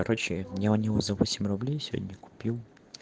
короче я у него за восемь рублей сегодня купил